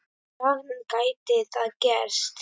dag gæti það gerst.